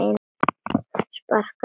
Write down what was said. Sparkað aftur.